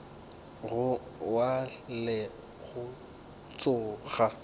go wa le go tsoga